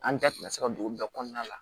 An da tɛna se ka don bɛɛ kɔnɔna la